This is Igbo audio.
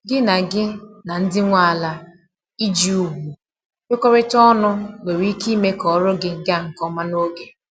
Gị na Gị na ndị nwe ala iji ùgwù kwekorita ọnụ nwere ike ime ka ọrụ gị ga nke ọma n'oge